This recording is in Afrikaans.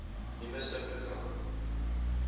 nuwe subpro gram